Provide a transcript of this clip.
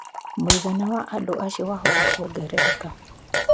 Mũigana wa andũ acio wahota kũongerereka.